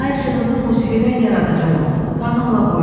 Ay işığında musiqidən yaradacam onu, qanımla boyayacam.